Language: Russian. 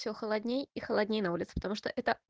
все холоднее и холоднее на улицу потому что это